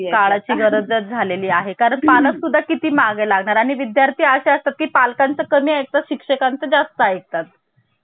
आणि दुसरी गोष्ट म्हणजे भारतीय राज्यांना स्वायत्ता नाही आहे म्हणजेच ते स्वतःच देश म्हणून स्वतःला घोषित करू शकत नाही आहे अमेरिकेप्रमाणे. तर या दोन तरतुदीमुळे